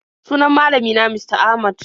Sunan malami na Mista Ahmad.